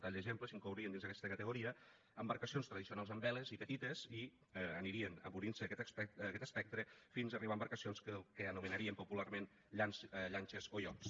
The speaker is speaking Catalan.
a tall d’exemple s’inclourien dins d’aquesta categoria embarcacions tradicionals amb veles i petites i anirien obrint se a aquest espectre fins a arribar a embarcacions que anomenaríem popularment llanxes o iots